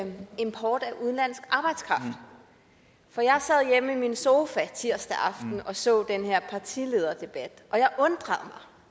til import af udenlandsk arbejdskraft for jeg sad hjemme i min sofa tirsdag aften og så den her partilederdebat og jeg undrede